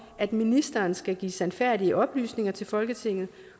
at ministeren skal give sandfærdige oplysninger til folketinget